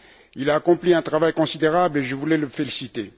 Il a accompli un travail considérable et je voulais le féliciter.